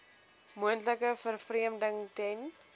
moontlike vervreemding ten